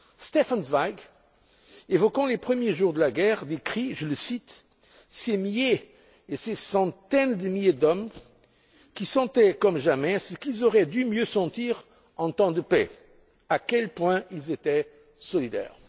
Stefan Zweig, évoquant les premiers jours de la guerre, décrit je le cite ces milliers et ces centaines de milliers d'hommes qui sentaient comme jamais ce qu'ils auraient dû mieux sentir en temps de paix, à quel point ils étaient solidaires.